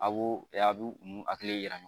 A b'o a bi hakili yira